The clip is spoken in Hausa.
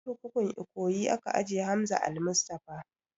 A kurkukun ikoyi aka ajiye Hamza almustapha